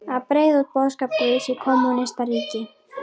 Að breiða út boðskap guðs í kommúnistaríki.